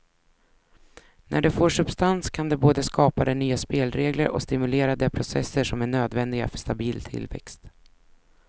När det får substans kan det både skapa de nya spelregler och stimulera de processer som är nödvändiga för stabil tillväxt.